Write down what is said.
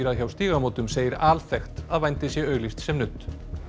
hjá Stígamótum segir alþekkt að vændi sé auglýst sem nudd